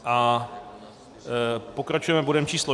A pokračujeme bodem číslo